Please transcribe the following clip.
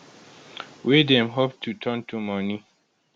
wey dem hope to turn to money